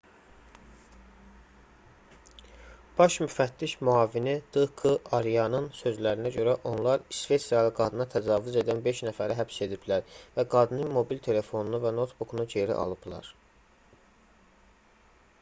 baş müfəttiş müavini d k aryanın sözlərinə görə onlar i̇sveçrəli qadına təcavüz edən beş nəfəri həbs ediblər və qadının mobil telefonunu və noutbukunu geri alıblar